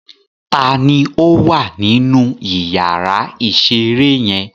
Ta ni ó wà nínú ìyàrá-ìṣeré yẹn?